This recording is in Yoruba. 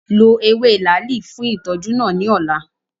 Lo ewe laali fun itọju naa ni ọla!